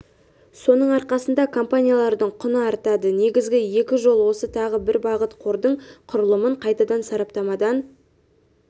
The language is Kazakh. соның арқасында компаниялардың құны артады негізгі екі жол осы тағы бір бағыт қордың құрылымын қайтадан сараптамадан